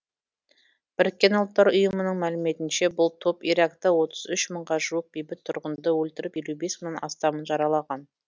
біріккен ұлттар ұйымының мәліметінше бұл топ иракта отыз үш мыңға жуық бейбіт тұрғынды өлтіріп елу бес мыңнан астамын жаралаған